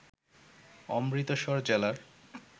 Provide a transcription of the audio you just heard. অমৃতসর জেলার